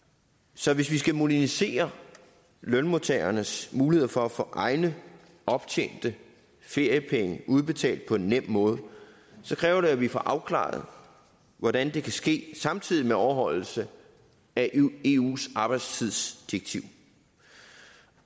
så hvis vi skal modernisere lønmodtagernes mulighed for at få egne optjente feriepenge udbetalt på en nem måde kræver det at vi får afklaret hvordan det kan ske samtidig med overholdelse af eus arbejdstidsdirektiv